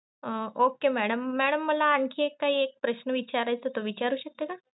Okay madam madam मला आणखी एक प्रश्न विचारायचं होत विचारू शकते का?